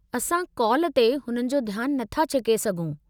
असां काल ते हुननि जो ध्यान नथा छिके सघूं।